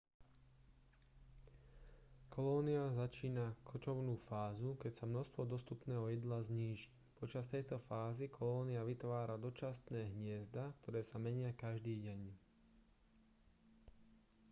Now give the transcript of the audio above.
kolónia začína kočovnú fázu keď sa množstvo dostupného jedla zníži počas tejto fázy kolónia vytvára dočasné hniezda ktoré sa menia každý deň